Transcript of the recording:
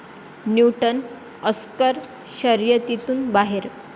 Newton' Oscar शर्यतीतून बाहेर